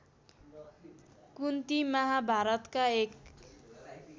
कुन्ती महाभारतका एक